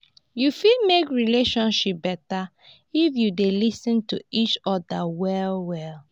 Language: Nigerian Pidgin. yu fit mek relationship beta if yu dey lis ten to each oda well well.